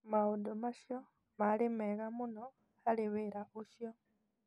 Maũndũ macio maarĩ mega mũno harĩ wĩra ũcio.